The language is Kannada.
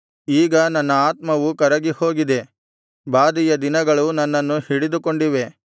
ಈಗ ನನ್ನ ಆತ್ಮವು ಕರಗಿಹೋಗಿದೆ ಬಾಧೆಯ ದಿನಗಳು ನನ್ನನ್ನು ಹಿಡಿದುಕೊಂಡಿವೆ